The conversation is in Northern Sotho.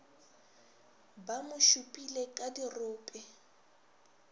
ba mo šupile ka dirope